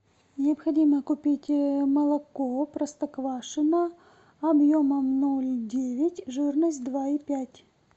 необходимо купить молоко простоквашино объемом ноль девять жирность два и пять